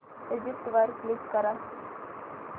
exit वर click कर